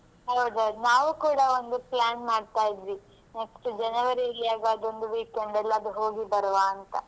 ಹೌದೌದು ನಾವು ಕೂಡ ಒಂದು plan ಮಾಡ್ತಾ ಇದ್ವಿ next ಜನವರಿಗೆ ಹೇಗಾದ್ರೊಂದು weekend ಎಲ್ಲಾದ್ರೂ ಹೋಗಿ ಬರುವ ಅಂತ.